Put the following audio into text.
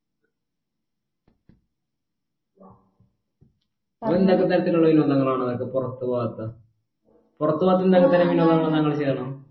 അത് എന്തൊക്കെ തരത്തിലുള്ള വിനോദങ്ങളാണ് അതൊക്കെ പുറത്ത് പോകാത്ത പുറത്തു പോകാത്ത എന്തൊക്കെ തരം വിനോദങ്ങൾ താങ്കൾ ചെയ്യാറ്